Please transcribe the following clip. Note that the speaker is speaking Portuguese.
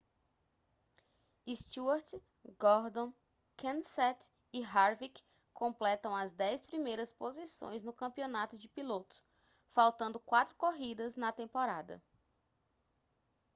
stewart gordon kenseth e harvick completam as dez primeiras posições no campeonato de pilotos faltando quatro corridas na temporada